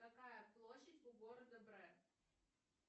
какая площадь у города бре